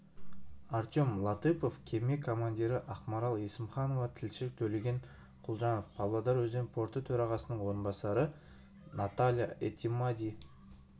артем латыпов кеме командирі ақмарал есімханова тілші төлеген күлжанов павлодар өзен порты төрағасының орынбасары наталья этимади